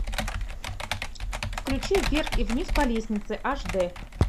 включи вверх и вниз по лестнице аш дэ